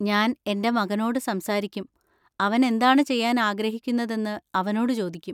ഞാൻ എന്‍റെ മകനോട് സംസാരിക്കും, അവൻ എന്താണ് ചെയ്യാൻ ആഗ്രഹിക്കുന്നതെന്ന് അവനോട് ചോദിക്കും.